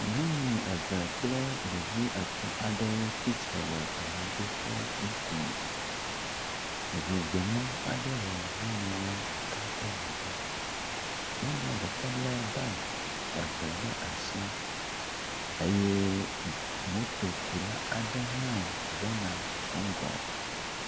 Nyɔnu eve kple ɖevi etɔ̃ aɖewo tsitre le amidoƒe ŋkume. Ŋu gbemu aɖe le nyɔnua ɖeka ƒe megbe. Nyɔnua ɖeka le bagi eve ɖe asi eye motokula aɖe hã gbɔ ŋgɔ.